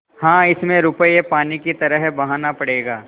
हाँ इसमें रुपये पानी की तरह बहाना पड़ेगा